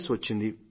yes వచ్చింది